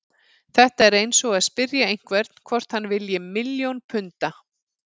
Þetta er eins og að spyrja einhvern hvort hann vilji milljón punda.